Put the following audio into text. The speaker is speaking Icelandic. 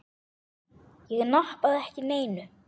Ég nappaði ekki neinu.